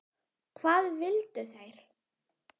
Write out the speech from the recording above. Hvað vildu þeir?